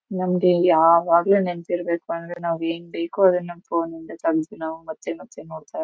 ನಮಗೆ ಯಾವಾಗಲೂ ನೆನಪು ಇರಬೇಕೆಂದ್ರೆ ನಾವ್ ಏನ್ ಬೇಕೋ ಅದನ್ನ ಫೋನ್ ಇಂದ ತೆಗೆದು ಮತ್ತೆ ಮತ್ತೆ ನೋಡಬಹುದು.